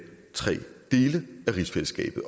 tre dele af rigsfællesskabet